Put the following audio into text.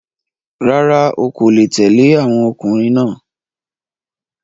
Rárá, o ọkò le tẹ̀le àwọn ọkùnrin náà.